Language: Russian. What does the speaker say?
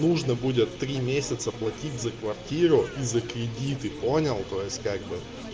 нужно будет три месяца платить за квартиру и за кредиты понял то есть как бы